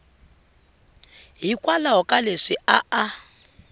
hikwalaho ka leswi a a